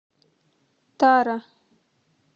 тара